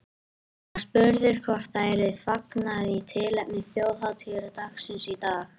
Hann var spurður hvort það yrði fagnað í tilefni þjóðhátíðardagsins í dag.